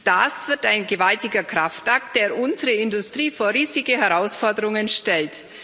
Das wird ein gewaltiger Kraftakt, der unsere Industrie vor riesige Herausforderungen stellt.